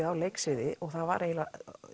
á leiksviði og það var eiginlega